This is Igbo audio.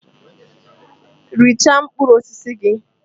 Richaa mkpụrụ osisi gị!